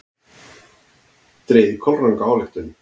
Dregið kolranga ályktun!